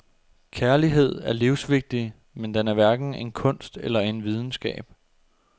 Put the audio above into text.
Kærlighed er livsvigtig, men den er hverken en kunst eller en videnskab.